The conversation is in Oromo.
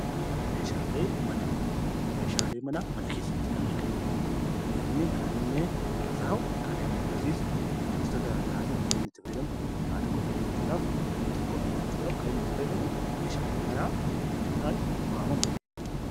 Meeshaaleen manaa mana keessatti kan argaman namni kan irra taa'u wantoota garaagaraatiif kan itti fayyadamu nyaata qopheeffachuudhaaf it too qopheeffachuudhaaf kan inni fayyadamudha.